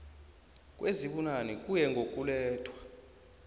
kwezibunane kuye ngokulethwa